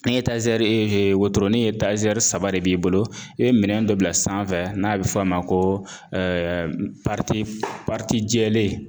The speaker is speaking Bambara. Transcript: Ni ee wotoronin saba de b'i bolo i be minɛn dɔ bila sanfɛ n'a be f'o ma ko jɛlen